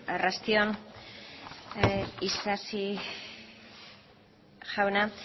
arrasti on isasi jauna